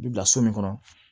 I bi bila so min kɔnɔ